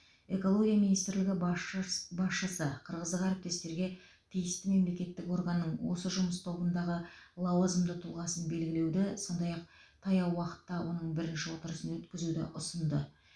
экология министрлігі басшыс басшысы қырғыздық әріптестерге тиісті мемлекеттік органның осы жұмыс тобындағы лауазымды тұлғасын белгілеуді сондай ақ таяу уақытта оның бірінші отырысын өткізуді ұсынды